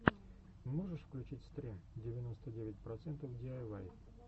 можешь включить стрим девяносто девять процентов диайвай